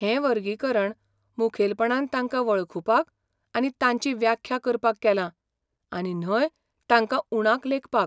हें वर्गीकरण मुखेलपणान तांकां वळखुपाक आनी तांची व्याख्या करपाक केलां आनी न्हय तांकां उणाक लेखपाक.